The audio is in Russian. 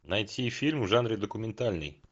найти фильм в жанре документальный